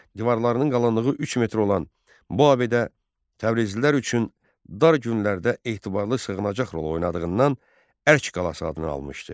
Divarlarının qalınlığı 3 metr olan bu abidə təbrizlilər üçün dar günlərdə etibarlı sığınacaq rol oynadığından Ərk qalası adını almışdı.